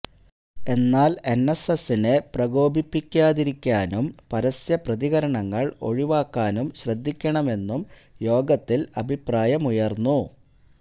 എന്നാല് എന്എസ്എസിനെ പ്രകോപിപ്പിക്കാതിരിക്കാനും പരസ്യ പ്രതികരണങ്ങള് ഒഴിവാക്കാനും ശ്രദ്ധിക്കണമെന്നും യോഗത്തില് അഭിപ്രായമുയര്ന്നു